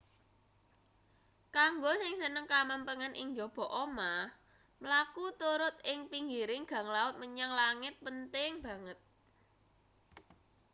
kanggo sing seneng kamempengan ing njaba omah mlaku turut ing pinggiring gang laut menyang langit penting banget